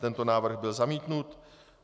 Tento návrh byl zamítnut.